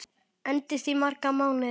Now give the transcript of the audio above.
Endist í marga mánuði.